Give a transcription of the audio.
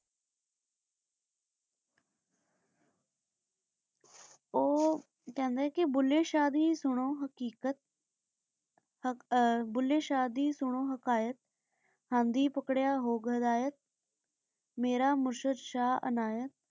ਊ ਕਹੰਦਾ ਆਯ ਕੀ ਭੁੱਲੇ ਸ਼ਾਹ ਦੀ ਸੁਨੋ ਹਾਕ਼ੀਕ਼ਾਤ ਆਹ ਭੁੱਲੇ ਸ਼ਾਹ ਦੀ ਸੁਨੋ ਹਾਕ਼ਿਆਕ਼ ਹੰਦੀ ਪਾਕ੍ਰਯ ਹੋ ਗਾਦੈਯਕ ਮੇਰਾ ਮੁਰਸ਼ਦ ਸ਼ਾਹ ਅਨਾਯਤ